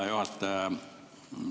Hea juhataja!